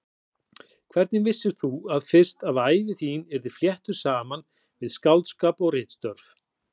Hvenær vissir þú fyrst að ævi þín yrði fléttuð saman við skáldskap og ritstörf?